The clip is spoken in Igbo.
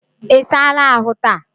Isala ahu taa?